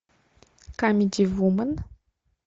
камеди вумен